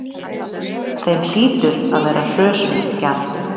Þeim hlýtur að vera hrösunargjarnt!